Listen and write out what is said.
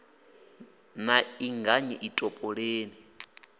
na i anganyi ḓi topoleni